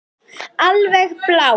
Alveg blá.